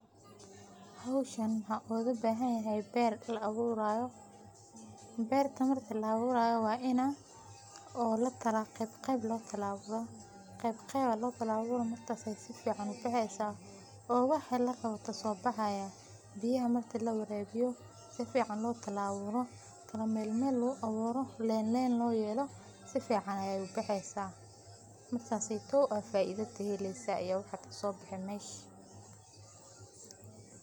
Meshan waxaan oga bahanyahay ber la awurayo. Berta marki la awurayo wa ina lakala oo qeyb qeyb lo kala awuro, qeyb qeyb aa lokala awuraah markas ay sifican u bexeysaah oo wixi larawo kasobaxayan biyaha marki lawarabiyo, si fican lo kala awuro , kala mel mel lo kala awuro, len len lo yelo si fican ay ubexeysaah , markaseytow aa faida kaheleysaa iyo wixi ka sobexe mesh.